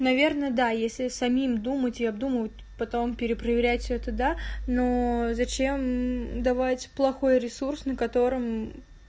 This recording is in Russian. наверное да если самим думать я думаю потом перепроверять все это да но зачем давать плохой ресурс на котором